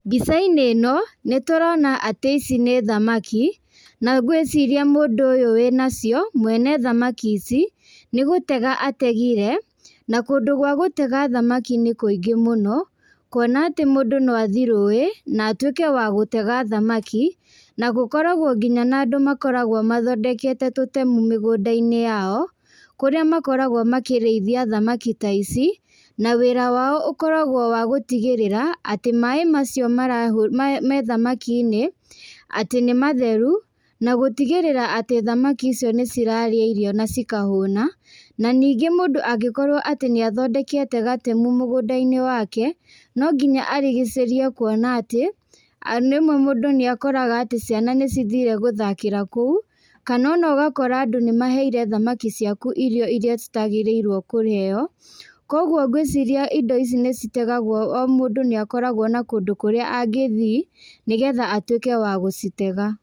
Mbica-inĩ ĩno, nĩtũrona atĩ ici nĩ thamaki. Na ngwĩciria mũndũ ũyũ wĩ nacio, mwene thamaki ici, nĩgũtega ategire. Na kũndũ gwa gũtega thamaki nĩ kũingĩ mũno, kuona atĩ mũndũ noathie rũĩ na atuĩke wa gũtega thamaki. Na gũkoragwo nginya na andũ makoragwo mathondekete tũtemu mĩgũnda-inĩ yao. Kũrĩa makoragwo makĩrĩithia thamaki ta ici, na wĩra wao ũkoragwo wa gũtigĩrĩra, atĩ maĩ macio marahũ, me thamakinĩ atĩ nĩ matheru. Na gũtigĩrĩra atĩ thamaki io nĩcirarĩa irio nacikahũna. Na nĩngĩ mũndũ angĩkorwo atĩ nĩathondekete gatemu mũgũnda-inĩ wake, no nginya arigicĩrie, kuona atĩ rĩmwe mũndũ nĩakoraga atĩ ciana nĩcithire gũthakĩra kũu, kana onagakora andũ nĩmaheire thamaki ciaku irio iria citagĩrĩirwo kũheo. Koguo ngwĩciria indo ici nĩcitegagwo, o mũndũ nĩakoragwo na kũndũ kũrĩa angĩthi, nĩgetha atuĩke wa gũcitega.